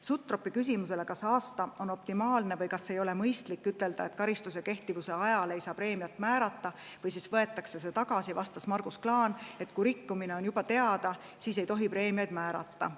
Sutropi küsimusele, kas aasta on optimaalne või kas ei ole mõistlik, et karistuse kehtivuse ajal ei saa preemiat määrata või siis võetakse see tagasi, vastas Margus Klaan, et kui rikkumine on juba teada, siis ei tohi preemiaid määrata.